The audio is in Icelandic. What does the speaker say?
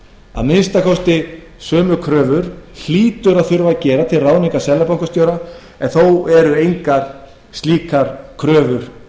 að minnsta kosti sömu kröfur hlýtur að þurfa að gera til ráðningar seðlabankastjóra en þó eru engar slíkar kröfur